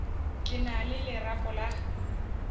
ke na le lerapo la